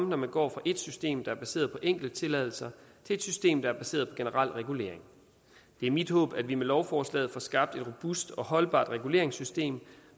når man går fra et system der er baseret på enkelte tilladelser til et system der er baseret på generel regulering det er mit håb at vi med lovforslaget får skabt et robust og holdbart reguleringssystem